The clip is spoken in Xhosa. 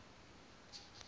kwadwesi